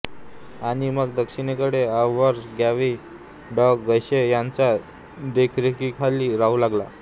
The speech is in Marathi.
आणि मग दक्षिणेकडे ऑव्हर्स गांवी डॉ गेशे यांच्या देखरेखीखाली राहू लागला